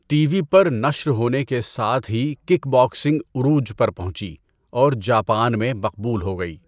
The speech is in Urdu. ٹی وی پر نشر ہونے کے ساتھ ہی کِک باکسنگ عروج پر پہنچی اور جاپان میں مقبول ہو گئی۔